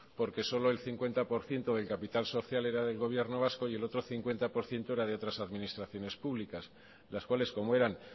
porque solo el cincuenta por ciento del capital social era del gobierno vasco y el otro cincuenta por ciento era de otras administraciones públicas las cuales como eran